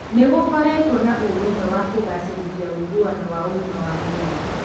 Nĩ gũkoretwo na ũrũmwe wa kũgacĩrithia ũiguano wa ũgima wa mwĩrĩ.